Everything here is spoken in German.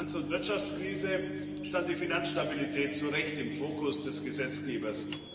Nach der Finanz und Wirtschaftskrise stand die Finanzstabilität zu Recht im Fokus des Gesetzgebers.